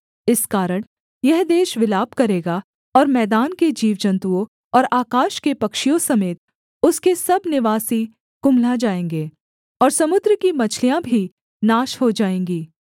इस कारण यह देश विलाप करेगा और मैदान के जीवजन्‍तुओं और आकाश के पक्षियों समेत उसके सब निवासी कुम्हला जाएँगे और समुद्र की मछलियाँ भी नाश हो जाएँगी